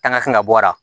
An ka fɛn ka bɔ a la